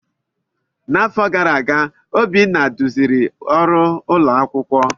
N'afọ gara aga, Obinna duziri ọrụ ụlọ akwụkwọ.